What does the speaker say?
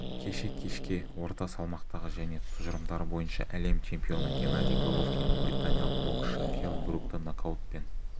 кеше кешке орта салмақтағы және тұжырымдары бойынша әлем чемпионы геннадий головкин британиялық боксшы келл брукті нокаутпен